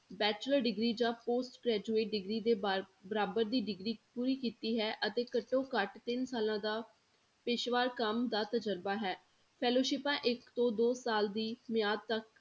Bachelor degree ਜਾਂ post graduate degree ਦੇ ਬਾਰੇ ਬਰਾਬਰ ਦੀ degree ਪੂਰੀ ਕੀਤੀ ਹੈ ਅਤੇ ਘੱਟੋ ਘੱਟ ਤਿੰਨ ਸਾਲਾਂ ਦਾ ਪੇਸ਼ੇਵਾਰ ਕੰਮ ਦਾ ਤਜ਼ਰਬਾ ਹੈ, ਸਿਪਾਂ ਇੱਕ ਤੋਂ ਦੋ ਸਾਲ ਦੀ ਮਿਆਦ ਤੱਕ